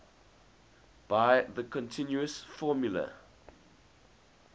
by the continuous formula